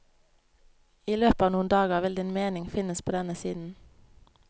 I løpet av noen dager vil din mening finnes på denne siden.